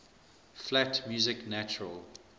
flat music natural